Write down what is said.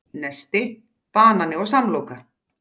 Nesti: Banani og samloka